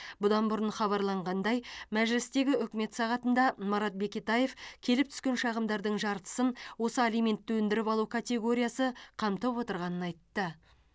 бұдан бұрын хабарланғандай мәжілістегі үкімет сағатында марат бекетаев келіп түскен шағымдардың жартысын осы алиментті өндіріп алу категориясы қамтып отырғанын айтты